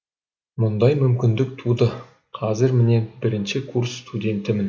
мұндай мүмкіндік туды қазір міне бірінші курс студентімін